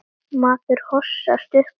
Maður hossast upp og niður.